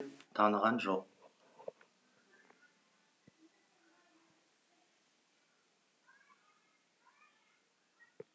таныған жоқ